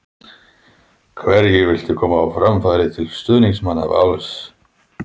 Hverju viltu koma á framfæri til stuðningsmanna Vals?